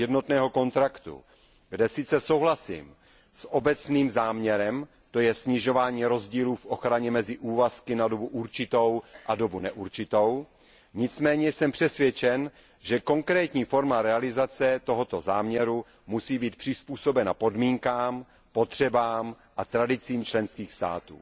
jednotného kontraktu, kde sice souhlasím s obecným záměrem, to je snižování rozdílů v ochraně mezi úvazky na dobu určitou a dobu neurčitou, nicméně jsem přesvědčen, že konkrétní forma realizace tohoto záměru musí být přizpůsobena podmínkám, potřebám a tradicím členských států.